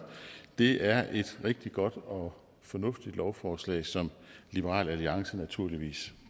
det er et rigtig godt og fornuftigt lovforslag som liberal alliance naturligvis